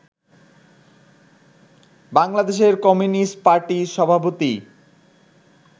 বাংলাদেশের কমিউনিস্ট পার্টির সভাপতি